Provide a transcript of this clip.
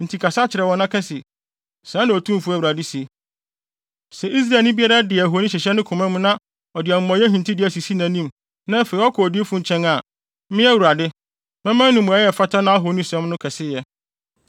Enti kasa kyerɛ wɔn na ka se, ‘Sɛɛ na Otumfo Awurade se: Sɛ Israelni biara de ahoni hyehyɛ ne koma mu na ɔde amumɔyɛ hintidua sisi nʼanim, na afei ɔkɔ odiyifo nkyɛn a, me Awurade, mɛma no mmuae a ɛfata nʼahonisom no kɛseyɛ.